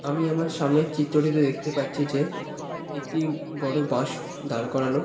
আমি আমার সামনের চিত্রটিতে দেখতে পাচ্ছি যে একটি বড় বাঁশ দাঁড় করানো।